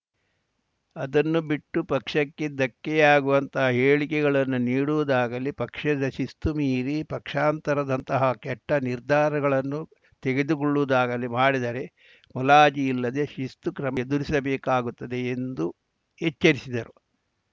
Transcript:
ಅದನ್ನು ಬಿಟ್ಟು ಪಕ್ಷಕ್ಕೆ ಧಕ್ಕೆಯಾಗುವಂತಹ ಹೇಳಿಕೆಗಳನ್ನು ನೀಡುವುದಾಗಲಿ ಪಕ್ಷದ ಶಿಸ್ತು ಮೀರಿ ಪಕ್ಷಾಂತರದಂತಹ ಕೆಟ್ಟನಿರ್ಧಾರಗಳನ್ನು ತೆಗೆದುಕೊಳ್ಳುವುದಾಗಲೀ ಮಾಡಿದರೆ ಮುಲಾಜಿಲ್ಲದೆ ಶಿಸ್ತು ಕ್ರಮ ಎದುರಿಸಬೇಕಾಗುತ್ತದೆ ಎಂದು ಎಚ್ಚರಿಸಿದರು